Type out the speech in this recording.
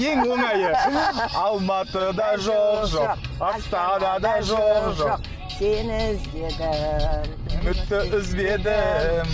ең оңайы алматыда жоқ жоқ астанада жоқ жоқ сені іздедім үмітті үзбедім